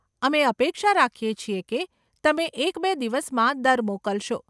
અમે અપેક્ષા રાખીએ છીએ કે તમે એક કે બે દિવસમાં દર મોકલશો.